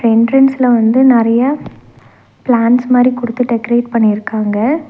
எண்ட்ரன்ஸ்ல வந்து நெறைய பிளான்ட்ஸ் மாரி குடுத்து டெக்கரேட் பண்ணிருக்காங்க.